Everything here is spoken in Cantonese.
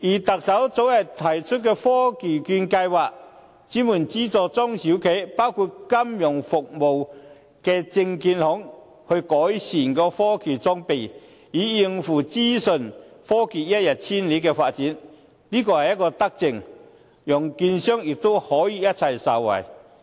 特首早前推出的科技券計劃，專門資助中小企，包括金融服務業的證券行改善科技裝備，以應付資訊科技一日千里的發展，這是一項德政，讓券商可以一起受惠。